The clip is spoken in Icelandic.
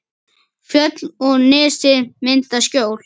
Fjöll og nesið mynda skjól.